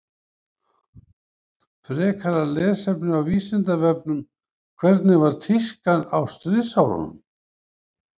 Frekara lesefni á Vísindavefnum Hvernig var tískan á stríðsárunum?